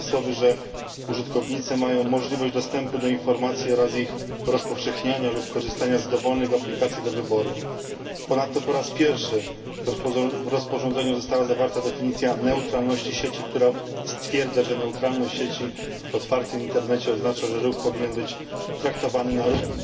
Innymi słowy, użytkownicy mają możliwość dostępu do informacji oraz ich rozpowszechniania lub korzystania z dowolnych aplikacji do wyboru. Ponadto po raz pierwszy w rozporządzeniu została zawarta definicja neutralności sieci, która określa, że neutralność sieci w otwartym internecie oznacza, że ruch powinien być traktowany na równi.